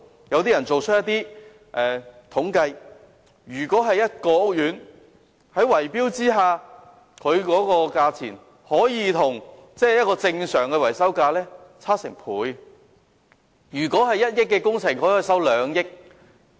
根據一些統計，在圍標下，屋苑的維修費用與正常價格可以相差接近1倍，即如果本來需要1億元的工程，他們可以收取兩億元。